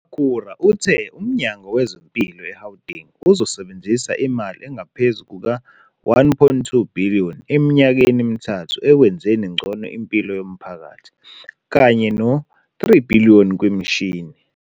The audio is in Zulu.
UMakhura uthe uMnyango wezeMpilo eGauteng uzosebenzisa imali engaphezu kuka-R1.2 billion eminyakeni emithathu ekwenzeni ngcono impilo yomphakathi kanye no-R3 billion kwimishini.